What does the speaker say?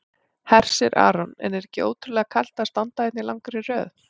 Hersir Aron: En er ekki ótrúlega kalt að standa hérna í langri röð?